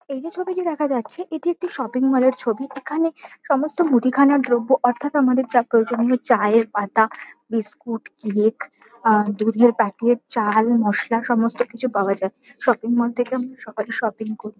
এই যে ছবিটা দেখা যাচ্ছে এটি একটি শপিং মল এর ছবি। এখানে সমস্ত মুদিখানার দ্রব্য অর্থাৎ আমাদের যা প্রয়োজনীয় চায়ের পাতা বিস্কুট কেক আহ দুধের প্যাকেট চাল মশলা সমস্তকিছু পাওয়া যায়। শপিং মল থেকে সকালে শপিং করি।